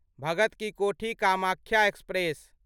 Bhagat ki Kothi Kamakhya express